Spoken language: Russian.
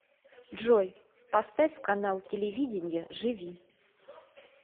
джой поставь канал телевидения живи